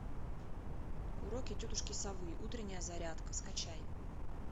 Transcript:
уроки тетушки совы утренняя зарядка скачай